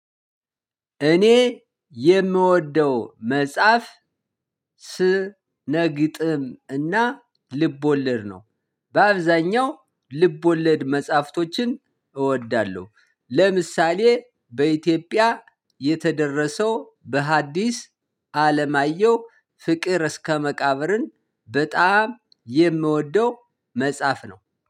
እኔ የምወደው መጽሐፍ ስነግጥም እና ልብ ወለድ ነው። በአብዛኛው ልብ ወለድ መጽሐፍቶችን እወዳለሁ። ለምሳሌ በኢትዮጵያ የተደረሰው በሀዲስ አለማየሁ ፍቅር እስከ መቃብርን። በጣም የምወደው መጽሐፍ ነው።